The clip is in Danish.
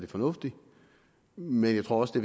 fornuftigt men jeg tror også det